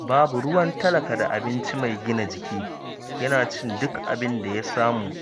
Babu ruwan talaka da abinci mai gina jiki, yana cin duk abin da ya samu